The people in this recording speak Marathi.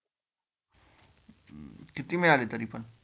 किती मिळाले तरी पण?